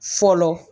Fɔlɔ